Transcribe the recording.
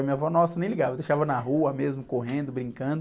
E minha avó, nossa, nem ligava, deixava na rua mesmo, correndo, brincando.